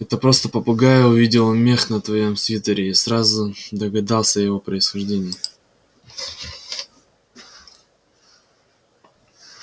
это просто попугай увидел мех на твоём свитере и сразу догадался о его происхождении